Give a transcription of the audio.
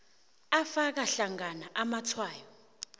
afaka hlangana amatshwayo